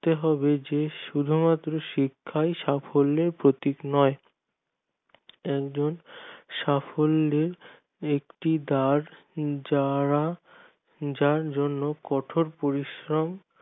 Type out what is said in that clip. হতে হবে যে শুধু মাত্র শিক্ষাই সাফল্যের প্রতীক নয় একজন সাফল্য ব্যাক্তি তার যারা যার জন্য কঠোর পরিশ্রম